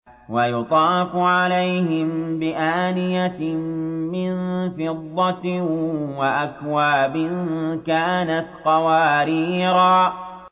وَيُطَافُ عَلَيْهِم بِآنِيَةٍ مِّن فِضَّةٍ وَأَكْوَابٍ كَانَتْ قَوَارِيرَا